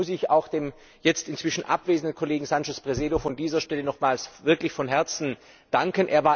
Und da muss ich auch dem jetzt inzwischen abwesenden Kollegen Sánchez Presedo von dieser Stelle aus nochmals wirklich von Herzen danken.